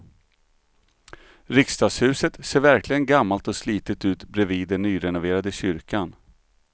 Riksdagshuset ser verkligen gammalt och slitet ut bredvid den nyrenoverade kyrkan.